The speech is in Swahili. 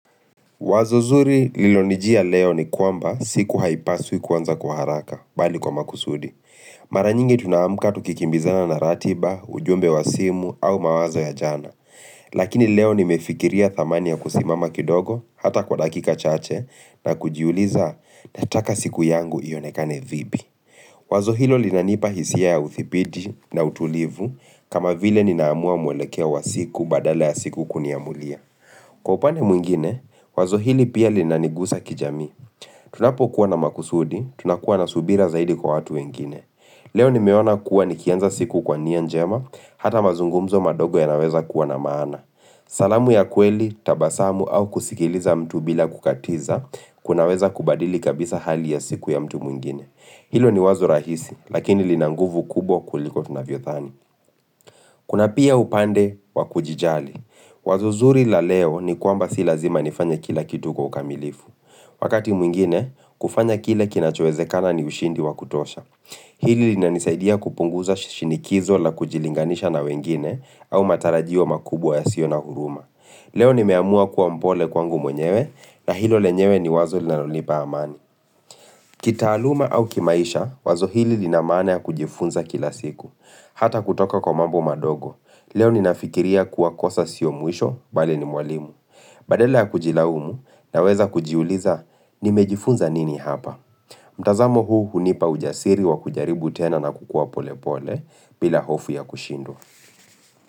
Wazo zuri lililonijia leo, ni kwamba siku haipaswi kuanza kwa haraka bali kwa makusudi. Mara nyingi tuna amka tukikimbizana na ratiba, ujumbe wa simu au mawazo ya jana. Lakini leo nimefikiria thamani ya kusimama kidogo hata kwa dakika chache na kujiuliza nataka siku yangu ionekane vipi. Wazo hilo linanipa hisia ya uthibidi na utulivu kama vile ninaamua mwelekeo wa siku badala ya siku kuniamulia. Kwa upande mwingine, wazo hili pia linanigusa kijami. Tunapokuwa na makusudi, tunakuwa na subira zaidi kwa watu wengine. Leo nimeona kuwa nikianza siku kwa nia njema, hata mazungumzo madogo yanaweza kuwa na maana. Salamu ya kweli, tabasamu au kusikiliza mtu bila kukatiza, kunaweza kubadili kabisa hali ya siku ya mtu mwingine. Hilo ni wazo rahisi lakini lina nguvu kubwa kuliko tunavyothani Kuna pia upande wa kujijali Wazo zuri la leo ni kwamba si lazima nifanye kila kitu kwa ukamilifu Wakati mwingine kufanya kile kinachowezekana ni ushindi wa kutosha Hili linanisaidia kupunguza shinikizo la kujilinganisha na wengine au matarajio makubwa yasio na huruma Leo nimeamua kuwa mpole kwangu mwenyewe na hilo lenyewe ni wazo linalonipa amani kitaaluma au kimaisha wazo hili lina maana ya kujifunza kila siku Hata kutoka kwa mambo madogo Leo ninafikiria kuwa kosa sio mwisho bali ni mwalimu Badala ya kujilaumu, naweza kujiuliza nimejifunza nini hapa mtazamo huu hunipa ujasiri wa kujaribu tena na kukua pole pole bila hofu ya kushindwa.